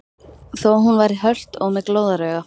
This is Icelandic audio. Þó hún væri hölt og með glóðarauga.